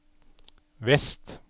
vest